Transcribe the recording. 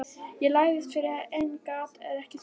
Ég lagðist fyrir en gat ekki sofnað.